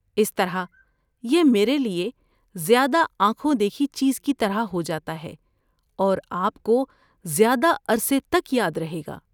اس طرح یہ میرے لیے زیادہ آنکھوں دیکھی چیز کی طرح ہو جاتا ہے اور آپ کو زیادہ عرصے تک یاد رہے گا۔